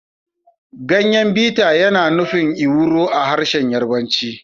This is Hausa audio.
Ganyen biter yana nufin ewuro a harshen Yarbanci